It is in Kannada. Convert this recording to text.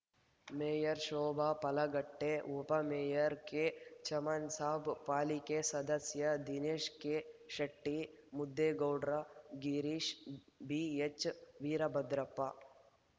ಮೇಯರ್‌ ಶೋಭಾ ಪಲ್ಲಾಗಟ್ಟೆ ಉಪ ಮೇಯರ್‌ ಕೆಚಮನ್‌ ಸಾಬ್‌ ಪಾಲಿಕೆ ಸದಸ್ಯ ದಿನೇಶ ಕೆಶೆಟ್ಟಿ ಮುದೇಗೌಡ್ರ ಗಿರೀಶ್ ಬಿಎಚ್‌ ವೀರಭದ್ರಪ್ಪ